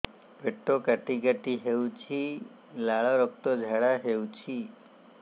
ପେଟ କାଟି କାଟି ହେଉଛି ଲାଳ ରକ୍ତ ଝାଡା ହେଉଛି